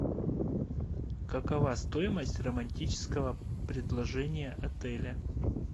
какова стоимость романтического предложения отеля